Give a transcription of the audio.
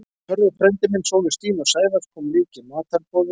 Hörður frændi minn, sonur Stínu og Sævars, kom líka í matarboðið.